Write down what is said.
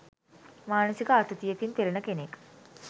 මානසික ආතතියකින් පෙළෙන කෙනෙක්